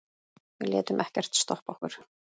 Við létum ekkert stoppa okkur.